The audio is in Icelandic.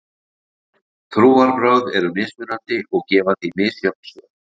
Trúarbrögð eru mismunandi og gefa því misjöfn svör.